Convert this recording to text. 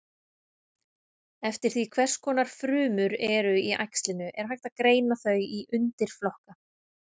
Eftir því hvers konar frumur eru í æxlinu er hægt að greina þau í undirflokka.